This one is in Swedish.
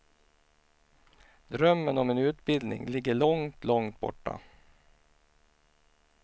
Drömmen om en utbildning ligger långt, långt borta.